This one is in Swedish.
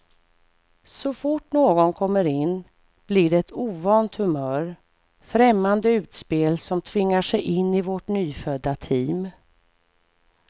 Så fort någon kommer in blir det ett ovant humör, främmande utspel som tvingar sig in i vårt nyfödda team.